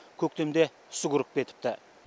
көктемде үсік ұрып кетіпті